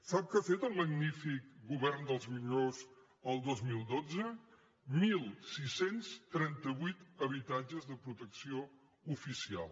sap què ha fet el magnífic govern dels millors el dos mil dotze setze trenta vuit habitatges de protecció oficial